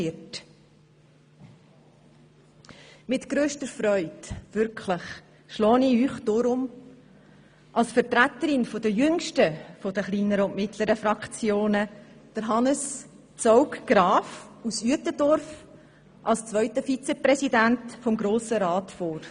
Wirklich mit grösster Freude schlage ich Ihnen deshalb als Vertreter der jüngsten der kleineren und mittleren Fraktionen Hannes Zaugg-Graf aus Uetendorf als zweiten Vizepräsidenten des Grossen Rats vor.